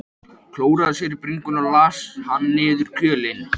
Klóraði sér á bringunni og las hann niður í kjölinn.